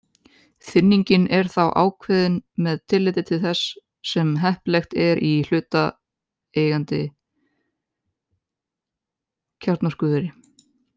Þynningin er þá ákveðin með tilliti til þess sem heppilegt er í hlutaðeigandi kjarnorkuveri.